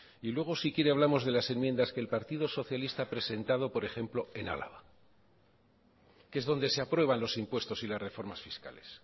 y luego si quiere hablamos de las enmiendas que el partido socialista ha presentado por ejemplo en álava que es donde se aprueban los impuestos y las reformas fiscales